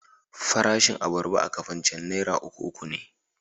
Farashin abarba a Kafancan naira uku uku ne.